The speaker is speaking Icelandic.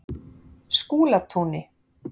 Skúlatúni